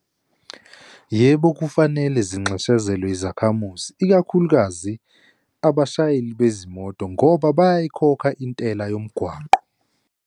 Yebo, kufanele zinxeshezelwe izakhamuzi ikakhulukazi abashayeli bezimoto ngoba bayayikhokha intela yomgwaqo.